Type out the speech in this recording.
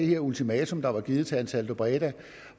det ultimatum der var blevet givet til ansaldobreda